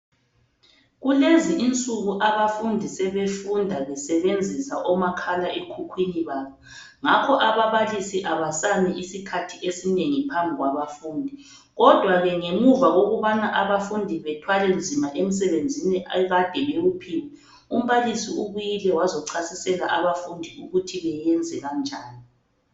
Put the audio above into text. Kulezi insuku abafundi sebefunda besebenzisa omakhala ekhukhwini babo ngakho ababalisi abasami isikhathi esinengi phambi kwabafundi kodwa ke ngemuva kokubana abafundi bethwale nzima emsebenzini ekade bewuphiwe, umbalisi ubuyile wazochasisela abafundi ukuthi beyenze kanjani.